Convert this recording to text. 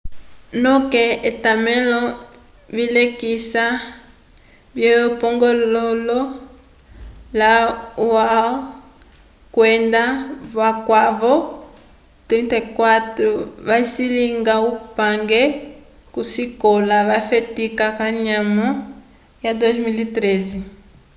noke etamelo vilekisa vye pongololo la hall kwenda vakwavo 34 vacilinga upange ko sikola vafetika kanyamo ya 2013